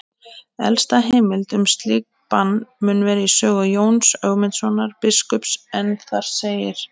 Elsta heimild um slíkt bann mun vera í sögu Jóns Ögmundssonar biskups en þar segir: